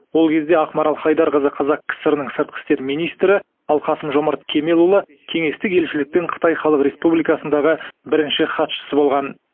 ол кезде ақмарал хайдарқызы қазақ кср нің сыртқы істер министрі ал қасым жомарт кемелұлы кеңестік елшіліктің қытай халық республикасындағы бірінші хатшысы болған